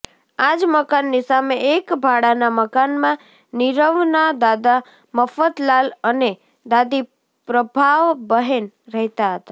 આ જ મકાનની સામે એક ભાડાના મકાનમાં નીરવના દાદા મફતલાલ અને દાદી પ્રભાબહેન રહેતા હતા